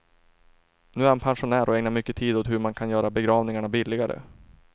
Nu är han pensionär och ägnar mycket tid åt hur man kan göra begravningarna billigare.